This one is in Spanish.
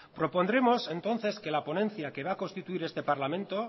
propondremos entonces que la ponencia que va a constituir este parlamento